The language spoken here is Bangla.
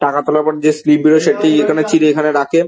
টাকা টোলের পর যে স্লিপ বের হয় . সেটি এখানে রাখে ।